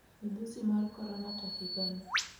Midhusi mar korona To higa ni,